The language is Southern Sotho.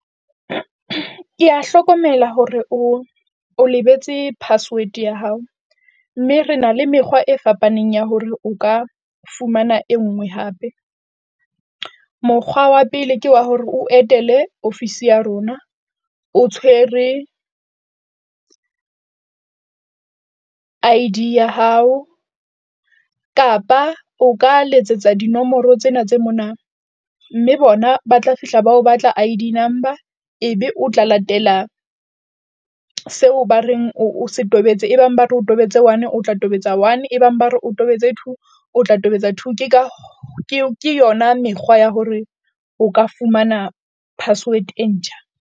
Kea hlokomela hore o, o lebetse password ya hao, mme re na le mekgwa e fapaneng ya hore o ka fumana e nngwe hape. Mokgwa wa pele ke wa hore o etele office ya rona o tshwere I_D ya hao kapa o ka letsetsa dinomoro tsena tse mona mme bona ba tla fihla ba o batla I_D number. Ebe o tla latela seo ba reng o se tobetse e bang ba re o tobetse one o tla tobetsa one e bang ba re o tobetse two o tla tobetsa two. Ke ka ke yona mekgwa ya hore o ka fumana password e ntjha.